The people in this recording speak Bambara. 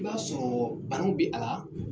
I b'a sɔrɔ banaw bi a la